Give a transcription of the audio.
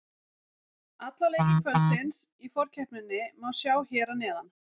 Alla leiki kvöldsins í forkeppninni má sjá hér að neðan